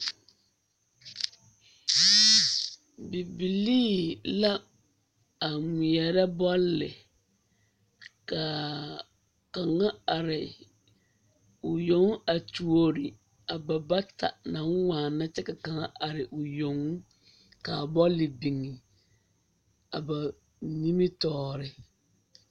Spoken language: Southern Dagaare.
Bibilii la a ŋmeɛrɛ bɔle ka kaŋa are o yoŋ a tuori a bata naŋ waana kyɛ ka kaŋ are o yoŋ ka bɔle biŋ s ba nimitɔɔre.